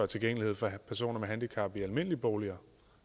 tilgængelighed for personer med handicap i almindelige boliger